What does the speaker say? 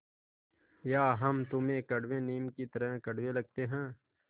या हम तुम्हें कड़वे नीम की तरह कड़वे लगते हैं